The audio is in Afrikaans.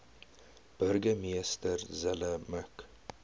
burgemeester zille mik